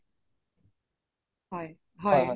হয়